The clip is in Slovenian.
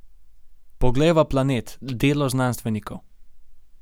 Poglejva planet, delo znanstvenikov.